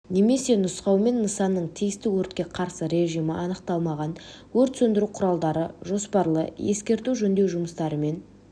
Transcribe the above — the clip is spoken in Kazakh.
немесе нұсқаумен нысанның тиісті өртке қарсы режимі анықталмаған өрт сөндіру құралдары жоспарлы-ескерту жөндеу жұмыстары мен